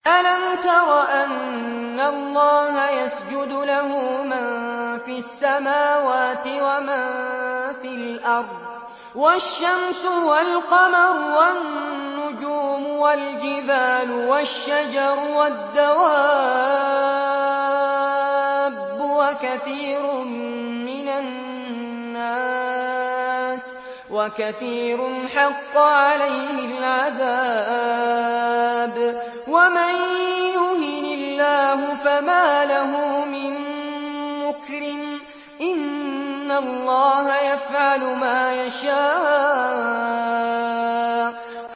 أَلَمْ تَرَ أَنَّ اللَّهَ يَسْجُدُ لَهُ مَن فِي السَّمَاوَاتِ وَمَن فِي الْأَرْضِ وَالشَّمْسُ وَالْقَمَرُ وَالنُّجُومُ وَالْجِبَالُ وَالشَّجَرُ وَالدَّوَابُّ وَكَثِيرٌ مِّنَ النَّاسِ ۖ وَكَثِيرٌ حَقَّ عَلَيْهِ الْعَذَابُ ۗ وَمَن يُهِنِ اللَّهُ فَمَا لَهُ مِن مُّكْرِمٍ ۚ إِنَّ اللَّهَ يَفْعَلُ مَا يَشَاءُ ۩